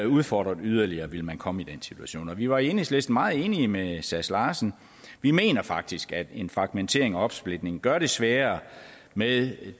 udfordret yderligere ville man komme i den situation vi var i enhedslisten meget enige med sass larsen vi mener faktisk at en fragmentering en opsplitning gør det sværere med